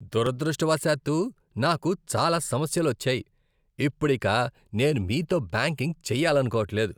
దురదృష్టవశాత్తు నాకు చాలా సమస్యలు వచ్చాయి, ఇప్పుడిక నేను మీతో బ్యాంకింగ్ చేయాలనుకోవట్లేదు.